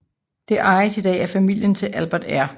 Det ejes i dag af familien til Albert R